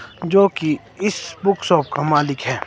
जो कि इस बुक शॉप का मालिक है।